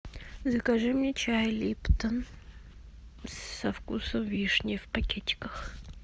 закажи мне чай липтон со вкусом вишни в пакетиках